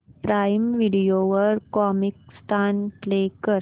prime Video वर Comicstaan play कर